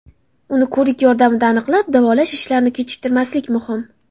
Uni ko‘rik yordamida aniqlab, davolash ishlarini kechiktirmaslik muhim.